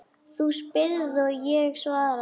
Þú spyrð og ég svara.